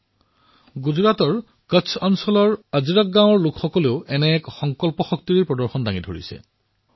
এনেকুৱাই সংকল্প শক্তি গুজৰাটৰ কচ্ছ এলেকাৰ আজৰক গাঁৱৰ বাসিন্দাসকলেও প্ৰদৰ্শিত কৰিছে